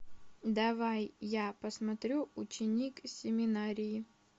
давай я посмотрю ученик семинарии